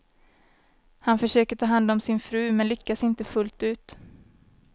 Han försöker ta hand om sin fru, men lyckas inte fullt ut.